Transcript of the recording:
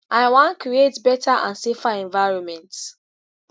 i wan create beta and safer environment